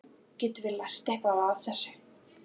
Getum við lært eitthvað af þessu?